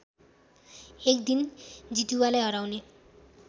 एकदिन जितुवालाई हराउने